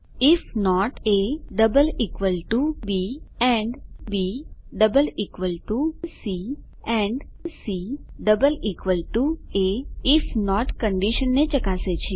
if not AB and BC and CA if not કંડીશનને ચકાસે છે